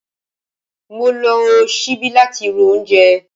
Mo lo sibi lati ro oúnjẹ